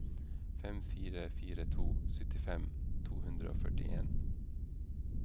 fem fire fire to syttifem to hundre og førtien